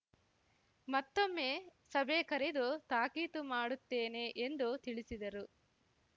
ಮತ್ತೊಮ್ಮೆ ಸಭೆ ಕರೆದು ತಾಕೀತು ಮಾಡುತ್ತೇನೆ ಎಂದು ತಿಳಿಸಿದರು